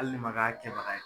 Hali ne man k'a kɛbaga ye.